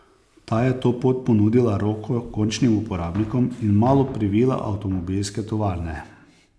Ta je to pot ponudila roko končnim uporabnikom in malo privila avtomobilske tovarne.